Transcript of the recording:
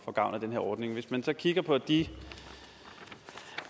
får gavn af den her ordning hvis man så kigger på de